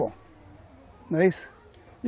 Bom, não é